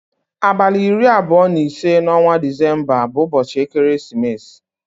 Abalị iri abụọ na ise n'ọnwa December bụ ụbọchị ekeresimesi